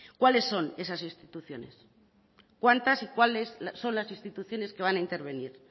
cuáles son esas instituciones cuántas y cuáles son las instituciones que van a intervenir